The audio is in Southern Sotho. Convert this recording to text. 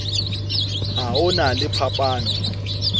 ha ho na le phapano